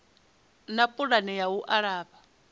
na pulani ya u alafha